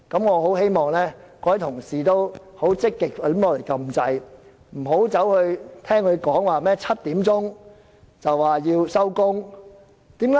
我希望各位同事積極按鈕發言，不要聽他說甚麼7時便要結束。